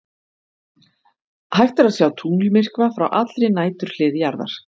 Hægt er að sjá tunglmyrkva frá allri næturhlið jarðar.